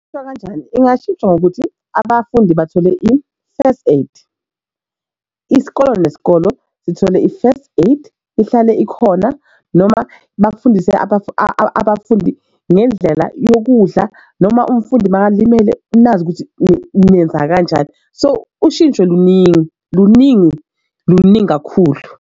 Khona kanjani ingashintsha ngokuthi abafundi bathole i-first aid isikole neskolo sithole i-first aid ihlale ikhona noma bafundise abafundi ngendlela yokudla noma umfundi makalimele nazi ukuthi nenza kanjani so ushintsho luningi luningi luningi kakhulu.